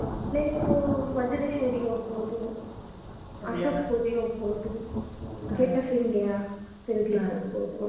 Place ಸೂ ವಜ್ರೇಶ್ವರಿಗೆ ಹೋಗ್ಬೋದು. ovrlap ಅಶೋಕ್ ಪುರಿ ಹೋಗ್ಬೋದು. Gate of India ತಿರುಗ್ಲಿಕ್ ಹೋಗ್ಬೋದು.